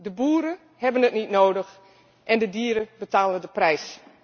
De boeren hebben het niet nodig en de dieren betalen de prijs.